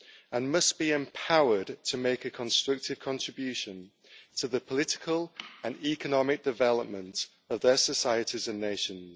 and must be empowered to make a constructive contribution to the political and economic development of their societies and nations.